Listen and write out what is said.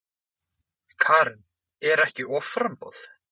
Karen: Er ekki offramboð?